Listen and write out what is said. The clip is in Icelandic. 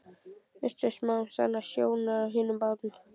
Misstu smám saman sjónar á hinum bát